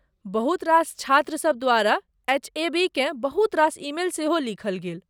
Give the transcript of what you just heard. बहुत रास छात्रसब द्वारा एचएबीकेँ बहुत रास ईमेल सेहो लिखल गेल।